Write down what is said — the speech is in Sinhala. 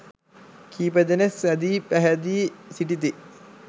කීප දෙනෙක් සැදී පැහැදී සිටිති.